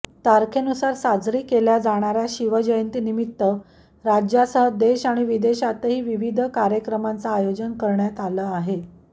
तारखेनुसार साजरी केल्या जाणाऱ्या शिवजयंतीनिमीत्त राज्यासह देश आणि विदेशातही विवीध कार्यक्रमांचं आयोजन करण्यात आलं आहे